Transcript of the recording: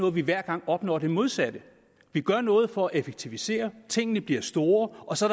at vi hver gang opnår det modsatte vi gør noget for at effektivisere tingene bliver store og så